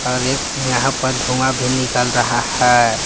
और एक यहां प धुआं भी निकल रहा हैं।